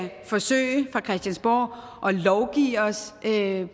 forsøge fra christiansborg at lovgive os til